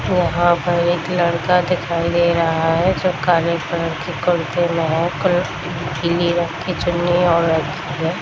यहाँ पर एक लड़का दिखाई दे रहा है जो काले कलर के कुर्ते में है क पीले रंग की चुन्नी है और एक --